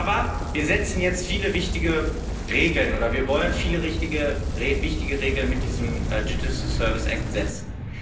Aber wir setzen jetzt viele wichtige Regeln oder wir wollen viele wichtige Regeln mit diesem Digital Services Act setzen.